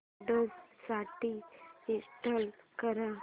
Windows साठी install कर